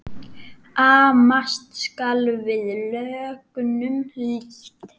Amast skal við lögnum lítt.